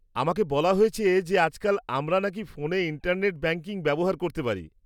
আমাকে বলা হয়েছে যে আজকাল আমরা নাকি ফোনে ইন্টারনেট ব্যাংকিং ব্যবহার করতে পারি।